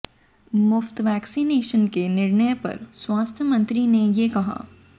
मुफ्त वैक्सीनेशन के निर्णय पर स्वास्थ्य मंत्री ने ये कहा